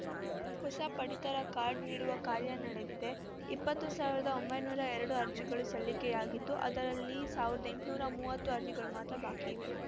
ಹೊಸ ಪಡಿತರ ಕಾರ್ಡ ನೀಡುವ ಕಾರ್ಯ ನಡೆದಿದೆ ಇಪ್ಪತ್ತು ಸಾವಿರದ ಒಂಬೈನೂರ ಎರಡು ಅರ್ಜಿಗಳು ಸಲ್ಲಿಕೆಯಾಗಿದ್ದು ಅದರಲ್ಲಿ ಸಾವಿರದ ಎಂಟುನೂರ ಮೂವತ್ತು ಅರ್ಜಿಗಳು ಮಾತ್ರ ಬಾಕಿ ಇವೆ